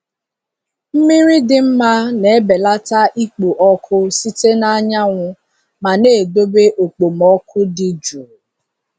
Mmiri dị mma na-ebelata ikpo ọkụ site na anyanwụ ma na-edobe okpomọkụ dị jụụ.